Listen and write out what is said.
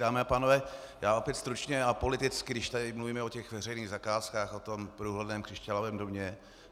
Dámy a pánové, já opět stručně a politicky, když tady mluvíme o těch veřejných zakázkách, o tom průhledném křišťálovém domě.